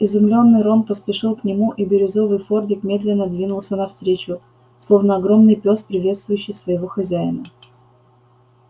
изумлённый рон поспешил к нему и бирюзовый фордик медленно двинулся навстречу словно огромный пёс приветствующий своего хозяина